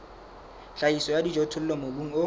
tlhahiso ya dijothollo mobung o